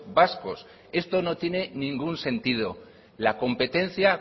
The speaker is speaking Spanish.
vascos esto no tiene ningún sentido la competencia